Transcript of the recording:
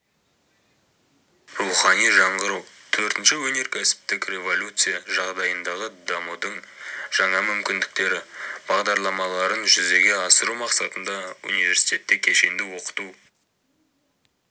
рухани жаңғыру төртінші өнеркәсіптік революция жағдайындағы дамудың жаңа мүмкіндіктері бағдарламаларын жүзеге асыру мақсатында университетте кешенді оқыту